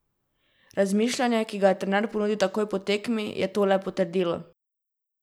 Razmišljanje, ki ga je trener ponudil takoj po tekmi, je to le potrdilo.